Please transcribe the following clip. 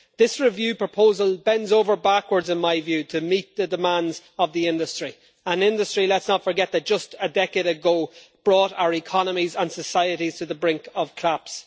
This review proposal bends over backwards in my view to meet the demands of the industry, an industry let's not forget that just a decade ago brought our economies and societies to the brink of collapse.